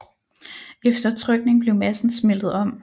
Efter trykning blev massen smeltet om